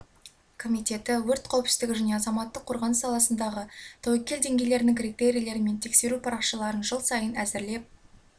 комитеті өрт қауіпсіздігі және азаматтық қорғаныс саласындағы тәуекел деңгейлерінің критерийлері мен тексеру парақшаларын жыл сайын әзірлеп